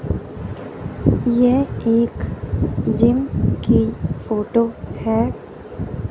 यह एक जिम की फोटो है।